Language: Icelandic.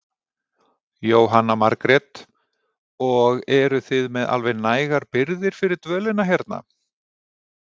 Jóhanna Margrét: og eruð þið með alveg nægar birgðir fyrir dvölina hérna?